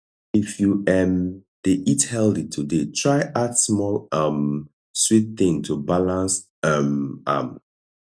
if you um dey eat healthy today try add small um sweet thing to balance um am